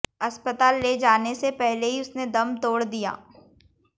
अस्पताल ले जाने से पहले ही उसने दम तोड़ दिया